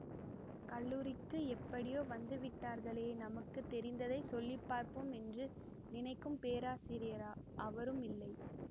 கல்லூரிக்கு எப்படியோ வந்துவிட்டார்களே நமக்கு தெரிந்தைச் சொல்லி பார்ப்போம் என்று நினைக்கும் பேராசிரியரா அவரும் இல்லை